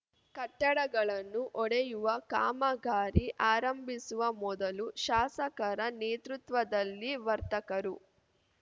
ಕಟ್ಟಡಗಳನ್ನು ಒಡೆಯುವ ಕಾಮಗಾರಿ ಆರಂಭಿಸುವ ಮೊದಲು ಶಾಸಕರ ನೇತೃತ್ವದಲ್ಲಿ ವರ್ತಕರು